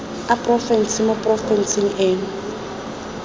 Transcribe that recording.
a porofense mo porofenseng eno